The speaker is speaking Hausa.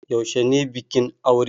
Yaushe ne bikin aure?